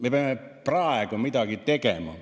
Me peame praegu midagi tegema.